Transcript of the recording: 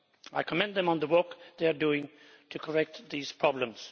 I commend them on the work they are doing to correct these problems.